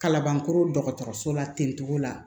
Kalabankɔrɔ dɔgɔtɔrɔso la ten cogo la